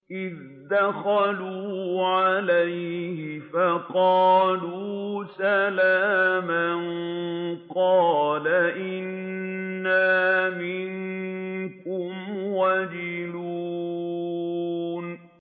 إِذْ دَخَلُوا عَلَيْهِ فَقَالُوا سَلَامًا قَالَ إِنَّا مِنكُمْ وَجِلُونَ